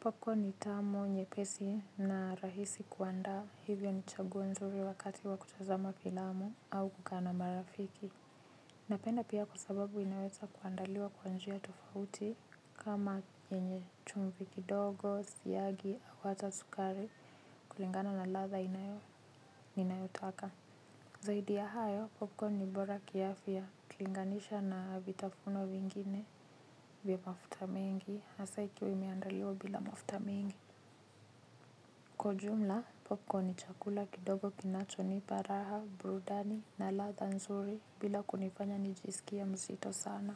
Popcorn ni tamu nyepesi na rahisi kuanda hivyo ni chaguo zuri wakati wa kutazama filamu au kukaa na marafiki. Napenda pia kwa sababu inaweza kuandaliwa kwanjia tofauti kama yenye chumvi kidogo, siagi au hata sukari kulingana na latha ninayotaka. Zaidi ya hayo popcorn ni bora kiafya ukilinganisha na vitafuno vingine vya mafuta mengi hasa ikiwa imeandaliwa bila mafuta mengi kwa ujumla popcorn ni chakula kidogo kinacho nipa raha burudani na latha nzuri bila kunifanya nijisikie mzito sana.